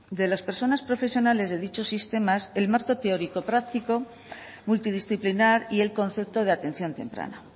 de las personas profesionales de dichos sistemas el marco teórico práctico multidisciplinar y el concepto de atención temprana